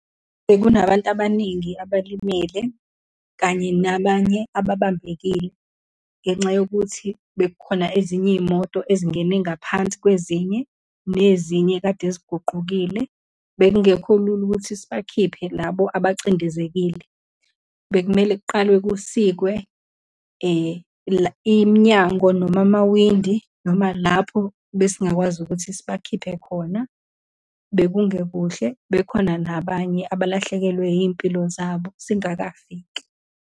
Bekunabantu abaningi abalimele, kanye nabanye ababambekile ngenxa yokuthi bekukhona ezinye iy'moto ezingene ngaphansi kwezinye, nezinye ekade ziguqukile. Bekungekho lula ukuthi sibakhiphe labo abacindezekile. Bekumele kuqalwe kusikwe iminyango, noma amawindi, noma lapho besingakwazi ukuthi sibakhiphe khona. Bekungekuhle, bekhona nabanye abalahlekelwe iy'mpilo zabo, singakafiki.